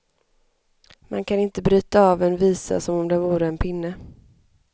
Man kan inte bryta av en visa som om den vore en pinne.